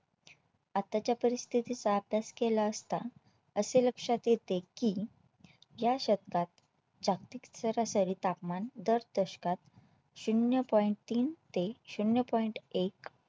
आताच्या परिस्थितीचा अभ्यास केला असता असे लक्षात येते की या शतकात जागतिक सरासरी तापमान दर दशकात शून्य Point तीन ते शून्य Point एक